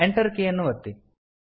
Enter key ಯನ್ನು ಒತ್ತಿ